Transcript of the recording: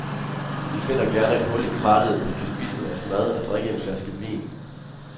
Vi finder gerne et hul i krattet, hvor vi kan spise vores mad og drikke en flaske vin.